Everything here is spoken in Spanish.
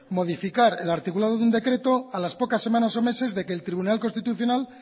modificar el artículo de un decreto a las pocas semanas o meses de que el tribunal constitucional